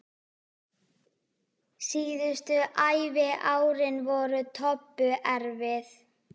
Síðustu æviárin voru Tobbu erfið.